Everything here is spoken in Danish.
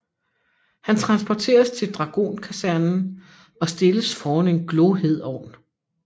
Han transporteres til Dragonkasernen og stilles foran en glohed ovn